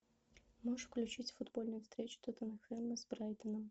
можешь включить футбольную встречу тоттенхэма с брайтоном